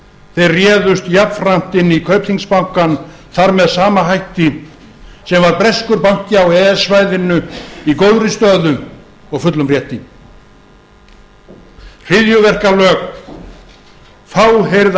þeir réðust jafnframt inn í kaupþingsbankann þar með sama hætti sem var breskur banki á e e s svæðinu í góðri stöðu og fullum rétti hryðjuverkalög fáheyrð